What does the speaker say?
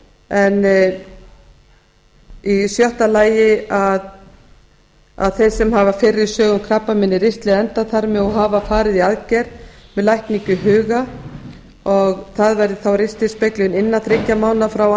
en í sjötta lagi þeir sem hafa fyrri sögu um krabbamein í ristli eða endaþarmi og hafa farið í aðgerð með lækningu í huga og það væri þá ristilspeglun innan þriggja mánaða frá